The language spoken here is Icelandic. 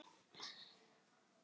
Til hvers að vinna?